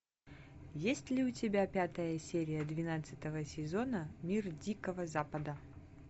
есть ли у тебя пятая серия двенадцатого сезона мир дикого запада